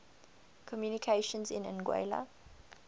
communications in anguilla